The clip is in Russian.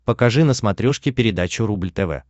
покажи на смотрешке передачу рубль тв